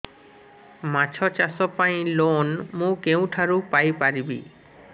ମାଛ ଚାଷ ପାଇଁ ଲୋନ୍ ମୁଁ କେଉଁଠାରୁ ପାଇପାରିବି